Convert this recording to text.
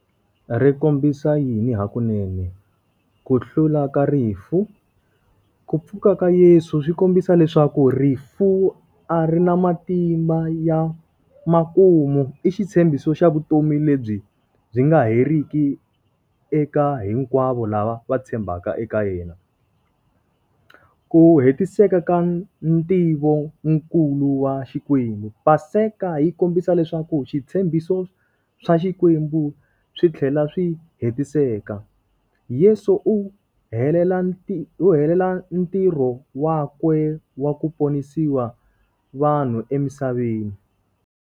Ri kombisa yini hakunen, ku hlula ka rifu. Ku pfuka ka Yeso swi kombisa leswaku rifu a ri na matimba ya makumu. I xitshembiso xa vutomi lebyi byi nga heriki eka hinkwavo lava va tshembaka eka yena. Ku hetiseka ka ntivonkulu wa Xikwembu. Paseka yi kombisa leswaku switshembiso swa Xikwembu swi tlhela swi hetiseka. Yeso u helela u helela ntirho wa kwe wa ku ponisiwa vanhu emisaveni.